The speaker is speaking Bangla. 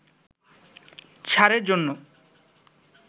ছাড়ের জন্য